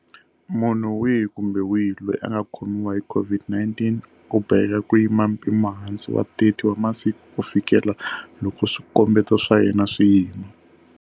Munhu wihi kumbe wihi loyi a nga khomiwa hi COVID-19 u boheka ku yima mpimohansi wa 30 wa masiku kufikela loko swikombeto swa yena swi yima.